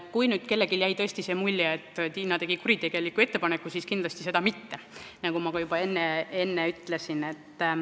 Kui nüüd kellelgi jäi tõesti mulje, et Tiina tegi kuritegeliku ettepaneku, siis seda kindlasti mitte, nagu ma ka juba enne ütlesin.